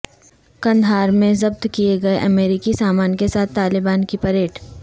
قندھار میں ضبط کیے گئے امریکی سامان کے ساتھ طالبان کی پریڈ